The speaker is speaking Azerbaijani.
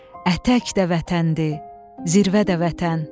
Ətək də vətəndir, zirvə də vətən.